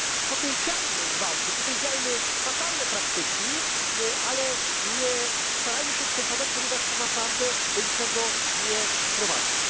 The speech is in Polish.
Potępiajmy gwałty, potępiajmy fatalne praktyki, ale starajmy się nie przesadzać, ponieważ to naprawdę do niczego nie prowadzi.